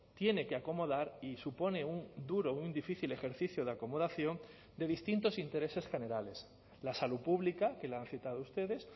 tiene que acomodar y supone un duro un difícil ejercicio de acomodación de distintos intereses generales la salud pública que la han citado ustedes